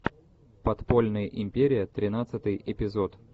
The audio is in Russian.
подпольная империя тринадцатый эпизод